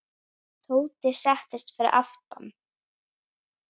Tóti settist fyrir aftan.